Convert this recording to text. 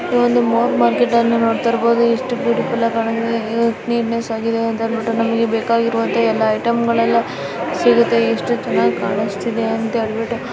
ಇದು ಒಂದು ಮಾರ್ಕೆಟ್ ನೋಡ್ತಾರಬಹುದು ಇಷು ಬ್ಯೂಟಿಫುಲ್ ಕಾಣ್ತಿದೆ ಇಷ್ಟ್ ನೀಟ್ನೆಸ್ ಆಗಿದೆ ನಮಗೆ ಬೇಕಾಗಿರುವು ಎಲ್ಲಾ ಐಟಂ ಗಳಲ ಸಿಗತ್ತೆ ಇಷು ಚನಾಗಿ ಕಾಣಿಸ್ತ್ತಿದೆ ಅಂತ ಹೇಳ್ಬಿಟ್ಟು.